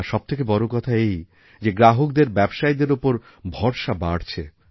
আর সবথেকে বড় কথা এই যে গ্রাহকদের ব্যবসায়ীদেরওপর ভরসা বাড়ছে